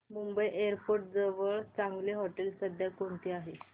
Mumbai airport जवळ चांगली हॉटेलं सध्या कोणती आहेत